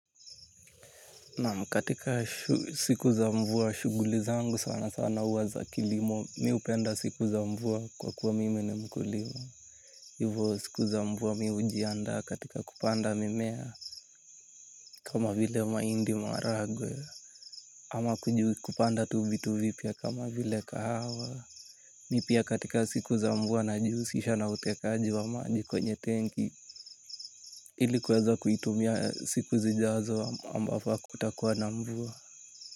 Naam katika siku za mvua, shughuli zangu sanasana huwa za kilimo, mi upenda siku za mvua kwa kuwa mimi ni mkulima. Hivyo siku za mvua mimi hujianda katika kupanda mimea, kama vile mahindi maragwe, ama kujuu kupanda tu vitu vipya kama vile kahawa. Mi pia katika siku za mvua najihusisha na utekaji wa maji kwenye tenki, ili kuweza kuitumia siku zijazo ambavyo hakutakuwa na mvua.